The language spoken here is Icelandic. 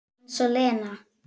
Eins og Lena!